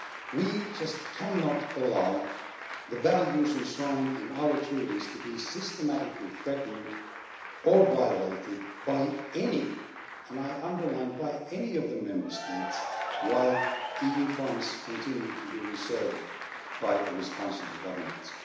We just cannot allow the values enshrined in our Treaties to be systematically threatened or violated by any and I underline by any of the Member States while EU funds continue to be reserved by the responsible governments.